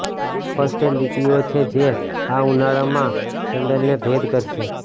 સ્પષ્ટ લીટીઓ છે જે આ ઉનાળામાં સેન્ડલને ભેદ કરશે